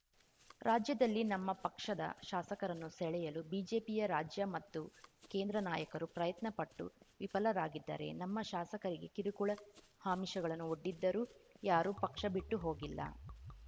ರಾಜ್ಯದಲ್ಲಿ ನಮ್ಮ ಪಕ್ಷದ ಶಾಸಕರನ್ನು ಸೆಳೆಯಲು ಬಿಜೆಪಿಯ ರಾಜ್ಯ ಮತ್ತು ಕೇಂದ್ರ ನಾಯಕರು ಪ್ರಯತ್ನ ಪಟ್ಟು ವಿಫಲರಾಗಿದ್ದಾರೆ ನಮ್ಮ ಶಾಸಕರಿಗೆ ಕಿರುಕುಳ ಆಮಿಷಗಳನ್ನು ಒಡ್ಡಿದರೂ ಯಾರೂ ಪಕ್ಷ ಬಿಟ್ಟು ಹೋಗಿಲ್ಲ